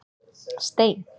Stein